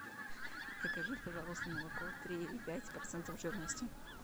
закажи пожалуйста молоко три и пять процентов жирности